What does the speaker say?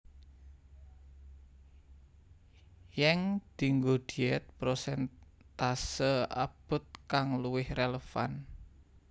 Yeng dienggo diet prosentase abot kang luwih relevan